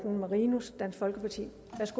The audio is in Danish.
evner til